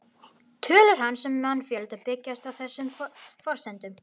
Tölur hans um mannfjölda byggjast á þessum forsendum.